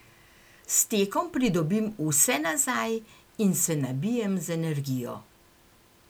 S tekom pridobim vse nazaj in se nabijem z energijo.